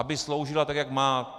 Aby sloužila tak, jak má.